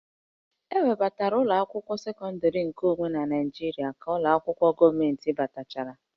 E webata ụlọ akwụkwọ sekọndịrị nke onwe na Naịjirịa ka ụlọ akwụkwọ gọọmentị batachara